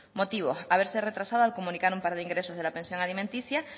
motivos haberse retrasado al comunicar un par de ingresos de la pensión alimenticia